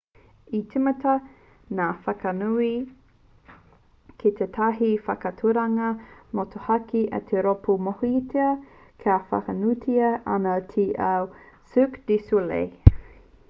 i tīmata ngā whakanui ki tētahi whakaaturanga motuhake a te rōpū e mōhiotia whānuitia ana ki te ao a cirque du soleil